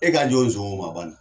E ka jɔn o nson ma